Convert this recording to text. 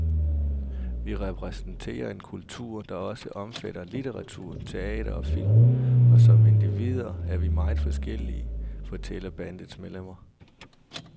Vi repræsenterer en kultur, der også omfatter litteratur, teater og film, og som individer er vi meget forskellige, fortæller bandets medlemmer.